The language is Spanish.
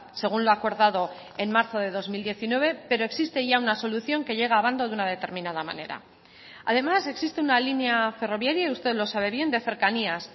según lo acordado en marzo de dos mil diecinueve pero existe ya una solución que llega abando de una determinada manera además existe una línea ferroviaria y usted lo sabe bien de cercanías